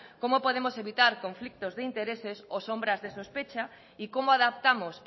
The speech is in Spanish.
cómo podemos evitar conflictos de intereses o sombras de sospecha y cómo adaptamos